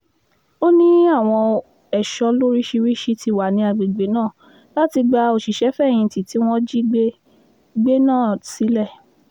ó ní àwọn ẹ̀ṣọ́ lóríṣìíríṣìí ti wà ní agbègbè náà láti gba òṣìṣẹ́-fẹ̀yìntì tí wọ́n jí gbé gbé náà sílẹ̀